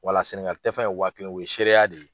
Walaseni ŋa tɛfan ye waa kelen o ye seereya de ye.